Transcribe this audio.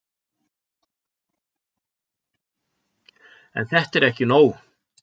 En þetta er ekki nóg.